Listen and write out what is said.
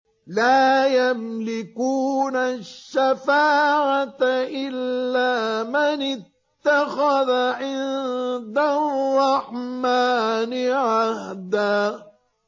لَّا يَمْلِكُونَ الشَّفَاعَةَ إِلَّا مَنِ اتَّخَذَ عِندَ الرَّحْمَٰنِ عَهْدًا